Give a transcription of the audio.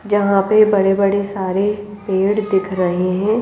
जहां पे बड़े बड़े सारे पेड़ दिख रहे हैं।